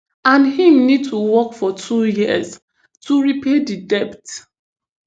and im need to work for two years to repay di debt